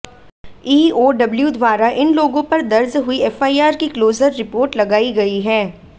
EOW द्वारा इन लोगों पर दर्ज हुई एफआईआर की क्लोजर रिपोर्ट लगाई गई है